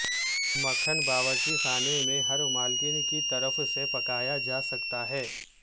مکھن باورچی خانے میں ہر مالکن کی طرف سے پکایا جا سکتا ہے